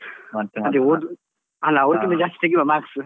ಅಲ್ಲ ಅವ್ರಿಗಿಂತ ಜಾಸ್ತಿ ತೆಗೀವ marks .